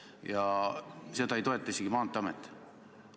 Ja seda ei toeta isegi Maanteeamet.